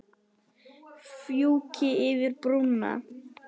Fjúki yfir brúna.